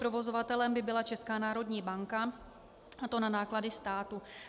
Provozovatelem by byla Česká národní banka, a to na náklady státu.